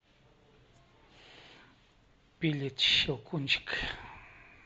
билет щелкунчик